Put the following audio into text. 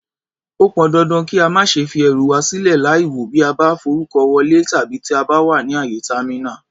Ó pọn dandan kí a má ṣe fi ẹrù wà sílè láìwò bí a bá ń forúkọ wọlé tàbí tí a bá wà ní àyè támínà.